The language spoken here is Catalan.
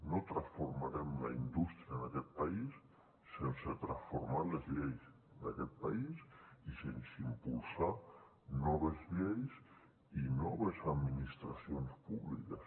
no transformarem la indústria en aquest país sense transformar les lleis d’aquest país i sense impulsar noves lleis i noves administracions públiques